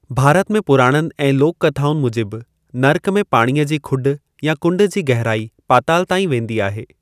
भारत जे पुराणनि ऐं लोक कथाउनि मूजिबि, नर्क में पाणीअ जी खुॾ या कुंड जी गहराई पाताल ताईं वेंदी आहे।